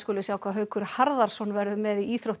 við sjá hvað Haukur Harðarson verður með í íþróttum